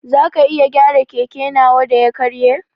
Zaka iya gyara keke nawa da ya karye?